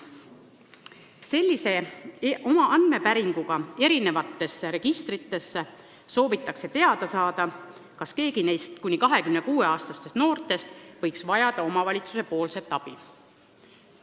Selliste andmepäringutega eri registritesse soovitakse teada saada, kas keegi neist kuni 26-aastastest noortest võiks vajada omavalitsuse abi.